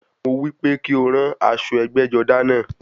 Mo wípé kí o ran aṣọ ẹgbẹ́-jọdá náà.